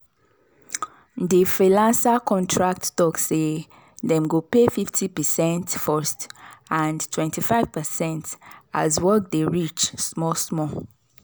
di freelancer contract talk say dem go pay 50 percent first and 25 percent as work dey reach small-small.